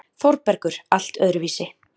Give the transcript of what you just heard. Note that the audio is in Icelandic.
ÞÓRBERGUR: Allt öðruvísi.